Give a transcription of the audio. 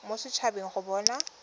mo set habeng go bona